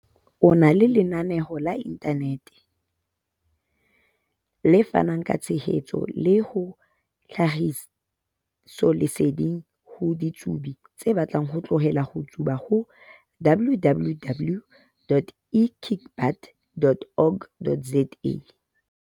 o na le lena-neo la inthanete, le fanang ka tshehetso le tlhahisoleseding ho ditsubi tse batlang ho tlohela ho tsuba ho- www.ekickbutt.org.za.